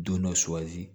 Don dɔ suwazi